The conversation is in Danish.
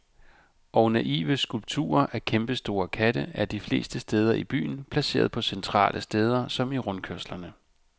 Og naive skulpturer af kæmpestore katte er de fleste steder i byen placeret på centrale steder, som i rundkørslerne.